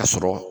A sɔrɔ